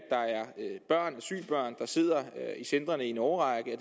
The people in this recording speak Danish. asylbørn der sidder i centrene i en årrække